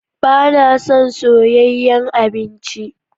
Ba na son soyayyen abinci.